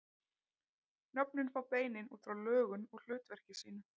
Nöfnin fá beinin út frá lögun og hlutverki sínu.